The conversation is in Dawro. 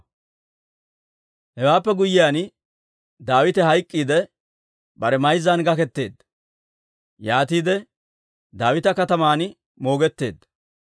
Hewaappe guyyiyaan Daawite hayk'k'iidde, bare mayzzan gaketteedda; yaatiide Daawita Kataman moogetteedda.